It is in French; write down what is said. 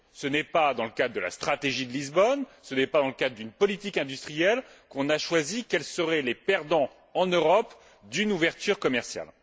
Ce n'est pas dans le cadre de la stratégie de Lisbonne, ce n'est pas dans le cadre d'une politique industrielle qu'on a choisi quels seraient les perdants, en Europe, d'une ouverture commerciale.